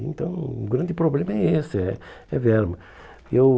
Então, o grande problema é esse, é é verba. Eu